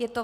Je to